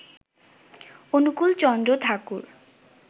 Anukulchandra Thakur